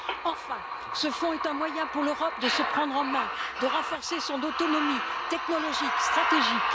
Enfin, ce Fonds est un moyen pour l'Europe de se prendre en main, de renforcer son autonomie technologique et stratégique.